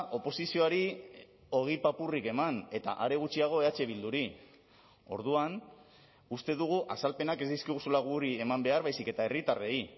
oposizioari ogi papurrik eman eta are gutxiago eh bilduri orduan uste dugu azalpenak ez dizkiguzula guri eman behar baizik eta herritarrei